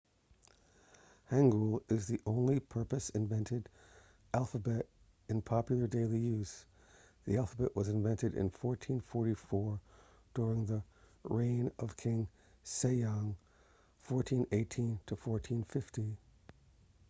hangeul is the only purposely invented alphabet in popular daily use. the alphabet was invented in 1444 during the reign of king sejong 1418 – 1450